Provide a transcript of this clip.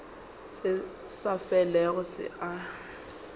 se sa felego se a